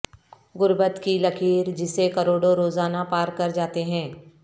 غربت کی لکیر جسے کروڑوں روزانہ پار کر جاتے ہیں